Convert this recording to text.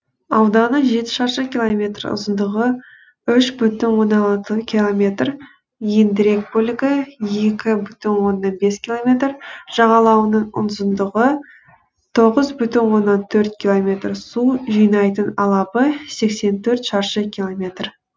ауданы жеті шаршы километр ұзындығы үш бүтін оннан алты километр ендірек бөлігі екі бүтін оннан бес километр жағалауының ұзындығы тоғыз бүтін оннан төрт километр су жинайтын алабы сексен төрт шаршы километр